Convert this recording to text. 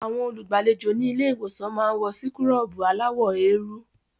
Àwọn olùgbàlejò ní ilé-ìwòsàn máa ń wọ síkúrọ̀bù aláwọ̀ eérú.